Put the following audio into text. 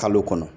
Kalo kɔnɔ